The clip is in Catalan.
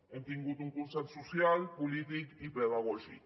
hem tingut un consens social polític i pedagògic